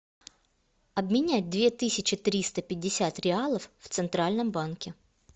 обменять две тысячи триста пятьдесят реалов в центральном банке